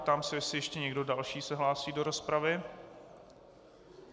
Ptám se, jestli ještě někdo další se hlásí do rozpravy.